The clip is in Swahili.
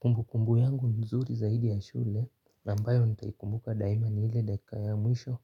Kumbukumbu yangu nzuri zaidi ya shule na ambayo nitaikumbuka daima ni ile dakika ya mwisho